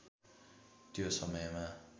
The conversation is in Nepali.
त्यो समयमा